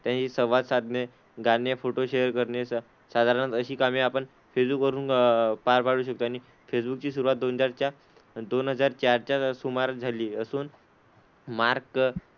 त्यांच्याशी संवाद साधणे, गाणे, फोटो शेअर करणे स साधारणतः अशी कामे आपण फेसबुक वरून पार पाडू शकतो. आणि फेसबुक ची सुरुवात दोन हजारच्या दोन हजार चारच्या सुमारास झाली असून मार्क,